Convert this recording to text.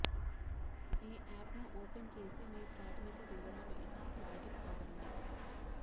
ఈ ఆప్ను ఓపెన్ చేసి మీ ప్రాథమిక వివరాలు ఇచ్చి లాగిన్ అవ్వండి